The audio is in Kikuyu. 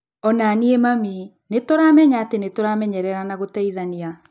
O na niĩ, mami. Nĩ tũramenya atĩ nĩ tũramenyerera na gũteithania